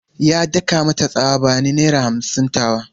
Ya daka mata tsawa "Bani naira hamsin tawa!"